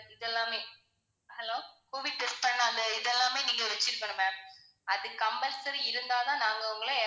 இதெல்லாமே hello covid test பண்ண அந்த இது எல்லாமே நீங்க வச்சுருக்கணும் ma'am அது compulsory இருந்தா தான் நாங்க உங்களை